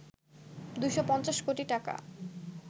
২৫০ কোটি টাকা